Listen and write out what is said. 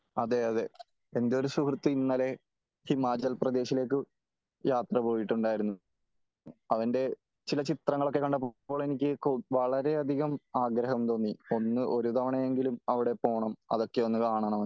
അതേ അതേ എന്റെ ഒരു സുഹൃത്ത് ഇന്നലെ ഹിമാചൽ പ്രദേശിലേക്ക് യാത്ര പോയിട്ടുണ്ടായിരുന്നു. അതിന്റെ ചില ചിത്രങ്ങൾ ഒക്കെ കണ്ടപ്പോ എനിക്ക് വളരെ അധികം ആഗ്രഹം തോന്നി. ഒന്ന് ഒരു തവണ എങ്കിലും അവിടെ പോണം കാണണമെന്ന്